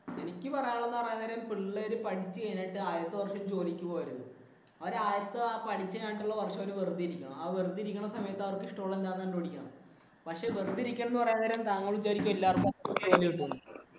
എനിക്ക് പറയാനുള്ളതെന്ന് വെച്ചാൽ പിള്ളേര് പഠിച്ചു കഴിഞ്ഞാൽ ആദ്യത്തെ വർഷം ജോലിക്ക് പോകരുത്. അവര് വര്‍ഷം വെറുതെ ഇരിക്കണം. ആ വെറുതെ ഇരിക്കുന്ന സമയത്ത് അവർക്ക് ഇഷ്ടമുള്ളത് എന്താന്ന് കണ്ടുപിടിക്കണം. പക്ഷേ വെറുതെ ഇരിക്കല്‍ എന്ന